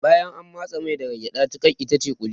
Bayan an matsi mai daga gyada tiƙar itace ƙuli